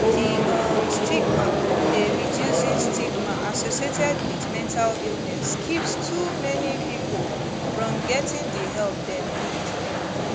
di um stigma dey reducing stigma associated wit mental illness keeps too many pipo from getting di help dem need